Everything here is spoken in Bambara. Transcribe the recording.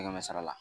Kɛmɛ kɛmɛ sara la